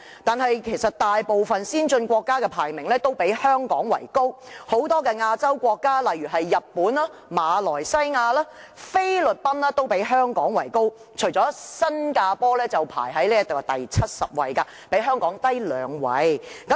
但其實大部分先進國家的排名均較香港為高，很多亞洲國家，例如日本、馬來西亞和菲律賓的排名均高於香港，除了新加坡排名第七十位，較香港低兩位。